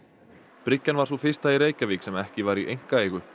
bryggjan var sú fyrsta í Reykjavík sem ekki var í einkaeigu